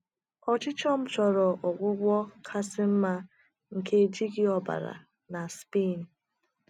Ọchịchọ m chọrọ ọgwụgwọ kasị mma nke n’ejighị ọbara na Spain